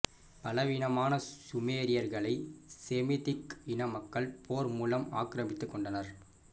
பலவீனமான சுமேரியர்களை செமித்திக் இன மக்கள் போர் மூலம் ஆக்கிரமித்து கொண்டனர்